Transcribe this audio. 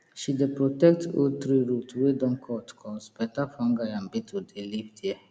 she dey protect old tree root wey don cut cos better fungi and beetle dey live there